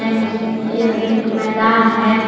नी यह एक मैदान है।